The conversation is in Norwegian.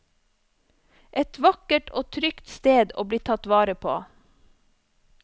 Et vakkert og trygt sted å bli tatt vare på.